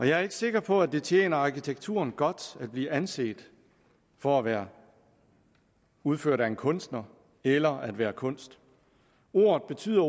jeg er ikke sikker på at det tjener arkitekturen godt at blive anset for at være udført af en kunstner eller at være kunst ordet betyder